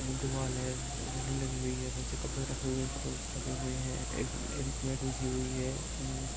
एक दिवाल है रेलिग लगी हुयी हे बहुत से कपडे रखे हुए है एक में मेट बिछी हुई है।